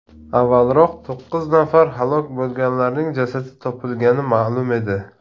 Avvalroq to‘qqiz nafar halok bo‘lganlarning jasadi topilgani ma’lum edi.